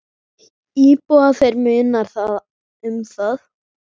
Íbúa þeirra munar um það.